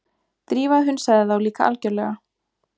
Drífa hunsaði þá líka algjörlega.